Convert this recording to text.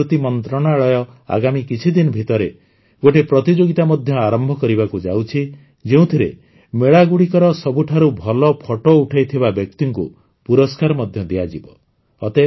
ଆମ ସଂସ୍କୃତି ମନ୍ତ୍ରଣାଳୟ ଆଗାମୀ କିଛିଦିନ ଭିତରେ ଗୋଟିଏ ପ୍ରତିଯୋଗିତା ମଧ୍ୟ ଆରମ୍ଭ କରିବାକୁ ଯାଉଛି ଯେଉଁଥିରେ ମେଳାଗୁଡ଼ିକର ସବୁଠାରୁ ଭଲ ଫଟୋ ପଠେଇଥିବା ବ୍ୟକ୍ତିକୁ ପୁରସ୍କାର ମଧ୍ୟ ଦିଆଯିବ